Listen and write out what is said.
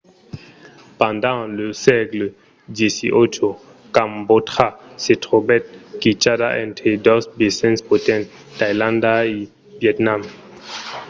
pendent lo sègle xviii cambòtja se trobèt quichada entre dos vesins potents tailàndia e vietnam